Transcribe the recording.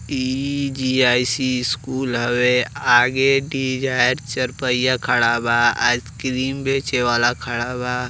ई GIC. School हवे। आ गे डिजायर चारपहिया खड़ा बा। आइसक्रीम बेचे वाला खड़ा बा।